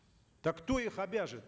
так кто их обяжет